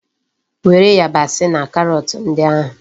Were yabasi na karọt ndị ahụ!